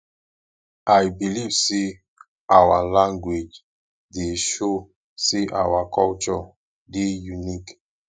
i believe sey our language dey show sey our culture dey unique